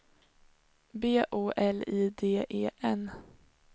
B O L I D E N